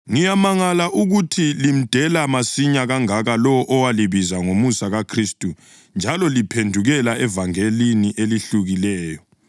Ngiyamangala ukuthi limdela masinya kangaka lowo owalibiza ngomusa kaKhristu njalo liphendukela evangelini elehlukileyo,